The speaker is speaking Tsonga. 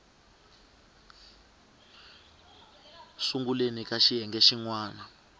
sunguleni ka xiyenge xin wana